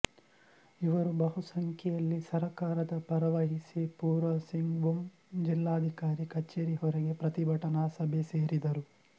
ಇವರು ಬಹುಸಂಖ್ಯೆಯಲ್ಲಿ ಸರಕಾರದ ಪರವಹಿಸಿ ಪೂರ್ವಸಿಂಗ್ಬುಮ್ ಜಿಲ್ಲಾಧಿಕಾರಿ ಕಛೇರಿ ಹೊರಗೆ ಪ್ರತಿಭಟನಾ ಸಭೆ ಸೇರಿದರು